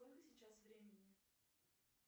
сколько сейчас времени